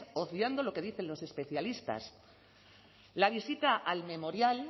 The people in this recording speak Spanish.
obviando lo que dicen los especialistas la visita al memorial